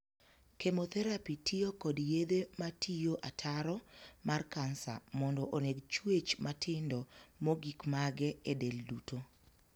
Chemotherapy' tiyo kod yedhe matiyo ataro mar kansa mondo oneg chuech matindo mogikmage e del duto.